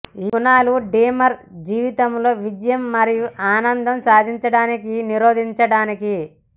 ఈ గుణాలు డ్రీమర్ జీవితంలో విజయం మరియు ఆనందం సాధించడానికి నిరోధించడానికి